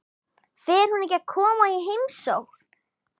Fer hún ekki að koma í heimsókn?